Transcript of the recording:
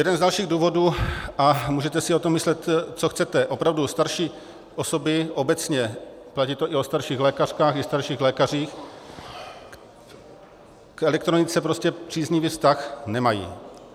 Jeden z dalších důvodů, a můžete si o tom myslet, co chcete, opravdu, starší osoby obecně, platí to i o starších lékařkách i starších lékařích, k elektronice prostě příznivý vztah nemají.